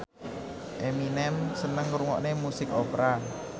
Eminem seneng ngrungokne musik opera